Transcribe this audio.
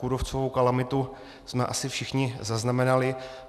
Kůrovcovou kalamitu jsme asi všichni zaznamenali.